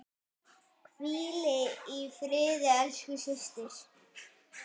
Hvíl í friði, elsku systir.